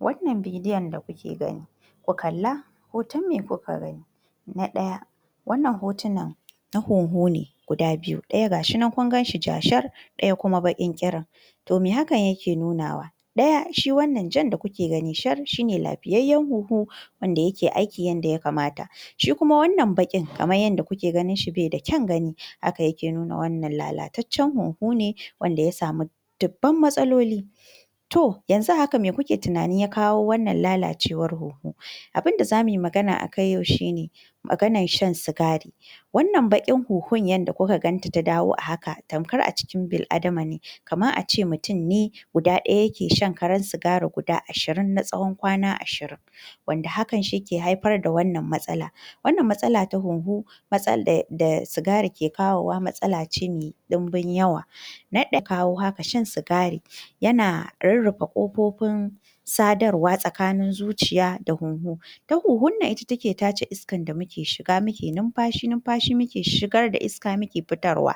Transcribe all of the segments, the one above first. Wannan bidiyon da kuke gani, ku kalla, hoton me Kuka gani?? na ɗaya, wannan hotunan na hunhu ne gudu biyu, ɗaya gashi nan kun ganshi jajir ɗaya Kuma baƙin ƙirin. To me hakan yake nunawa? Ɗaya Shi wannan Jan da kuke gani shar shine lafiyayyar hunhu wanda yake aiki yanda ya kamata, shi kuma wannan baƙin kamar yanda kuke ganinshi baida kyan gani haka yake nuna wannan lalataccen hunhu ne ne wanda ya sami dubban matsaloli. To yanzu a haka me kuke tunanin wanda ya kawo wannan lalacewar hunhu? Abinda zamuyi magana a kai Yau shine, maganar shan sigari. Wannan baƙin hunhun yanda Kuka ganta ta dawo a haka, tamkar a cikin bil’adama ne, kamar ace mutum ne guda guda ɗaya yake shan karar sigari guda ashirin na tsawon kwana ashirin, wanda hakan Shi ke haifar da wannan matsalar. Wannan matsala ta hunhu matsala da sigari Ke kawowa matsala ce me ɗinbin yawa,, na ɗaya abinda Ke kawo haka, Shan sigari yana rurrufe ƙofofin sadarwa tsakanin zuciya da hunhu. Ita hunhun nan ita ke tace iskan da muke shiga muke nunfashi, nunfashi muke shigar da iska muke fitarwa.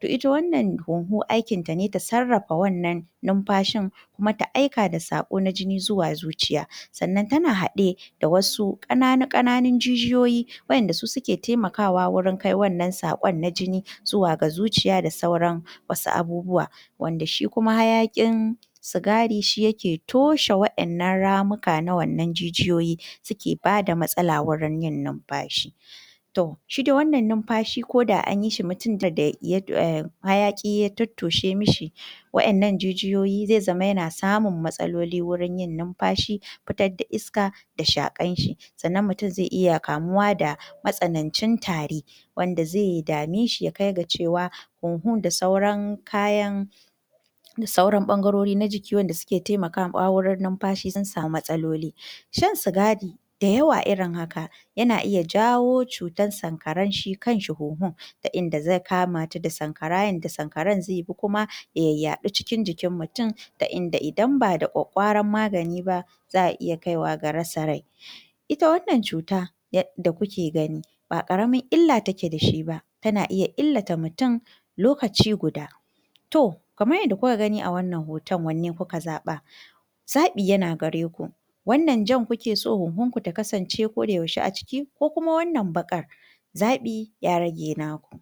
To ita wannan hunhu aikinta ne ta sarrafa wannan nunfashin Kuma ta aika da saƙo na jini zuwa zuciya, sannan tana haɗe da wasu ƙananu ƙananun jijiyoyi wadanda su suke taimakawa wuri kai wannan saƙon na jini zuwa ga zuciya da sauran wasu abubuwa,. wanda shi kuma hayaƙin sigari Shi yake toshe waɗannan ramuka na wannan jijiyo suke bada matsala wurin Yin nunfashi. To, shi dai wannan nunfashi koda anyishi mutumin da hayaƙi ya tottoshe mishi wadannan jijiyoyi zai zama yana samun matsaloli wurin yin nunfashi, fitar da iska da shaƙarshi, sannan mutum zai iya kamuwa da matsanancin tari, wanda zai dameshi ya kai ga cewa hunhun, da sauran kayan, da sauran ɓangarori na jiki waɗanda suke taimakawa wurin nunfashi sun sami matsaloli. Shan sigari da yawa irin haka, yana Iya jawo Sankaran Shi kanshi hunhun. Ta Inda zai kamata da Sankara, yanda sankaran zaibi Kuma ya yayyaɗu cikin jikin mutum, ta Inda Idan ba da kwakkwaran magani ba za'a Iya kaiwa ga rasa rai. Ita wannan cuta da kuke gani ba ƙaramin illa take dashi ba, tana Iya illata mutum lokaci guda. To kamar yadda Kuka gani a wannan hoton wanne kuka zaɓa? Zaɓi yana gareki, wannan Jan kukeso hunhun Ku ta kasance Koda yaushe a ciki Ko Kuma wannan baƙar? Zaɓi ya rage naku.